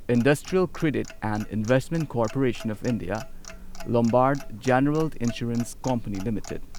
investment credit and investment corporation of India Lombard general insurance company limited